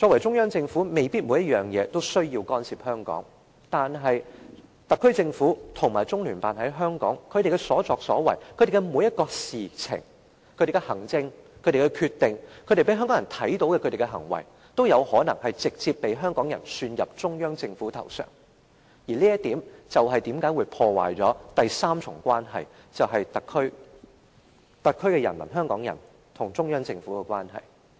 中央政府未必在每件事上都需要干涉香港的事務，但特區政府及中聯辦在香港的所作所為、所做的每一件事、所有行政和決定、所有讓香港人看到的行為，都有可能直接遭香港人算到中央政府的頭上，而這會破壞第三重關係，就是特區人民或香港人與中央政府之間的關係。